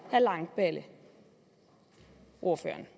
herre langballe ordføreren